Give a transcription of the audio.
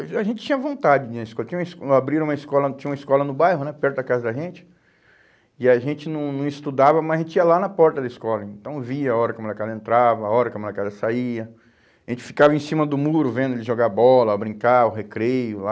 A gen a gente tinha vontade de ir na escola, tinha uma esco, uma abriram uma escola, tinha uma escola no bairro né, perto da casa da gente, e a gente não não estudava, mas a gente ia lá na porta da escola, então via a hora que a molecada entrava, a hora que a molecada saía, a gente ficava em cima do muro vendo ele jogar bola, brincar, o recreio lá.